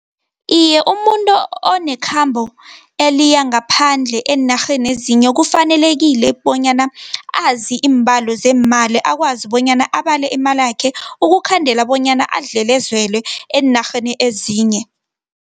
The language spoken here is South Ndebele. Iye, umuntu onekhabo eliyangaphandle eenarheni ezinye, kufanelekile bonyana azi iimbalo zeemali, akwazi bonyana abale imalakhe, ukukhandela bonyana adlelezelwe eenarheni ezinye.